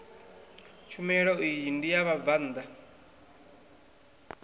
tshumelo iyi ndi ya vhabvann